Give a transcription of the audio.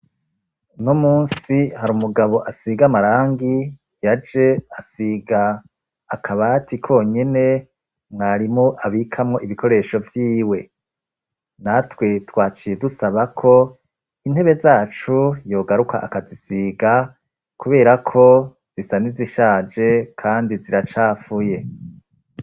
Uno musi hari umugabo asiga amarangi yaje asiga akabati konyene mwarimu abikamwo ibikoresho vyiwe, natwe twaciye dusaba ko intebe zacu yogaruka akazisiga kubera ko zisa n'izishaje kandi ziracafuye.